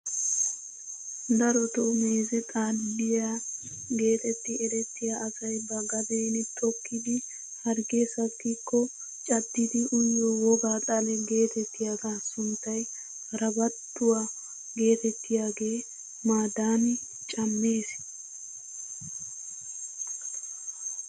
Darotoo meeze xaliyaa getetti erettiyaa asay ba gaden tokkidi harggee sakkiko caddidi uyiyoo wogaa xale getettiyaagaa sunttay harbbanttuwaa getettiyaage madani cammees!